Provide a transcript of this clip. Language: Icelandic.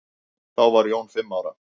Þá var Jón fimm ára.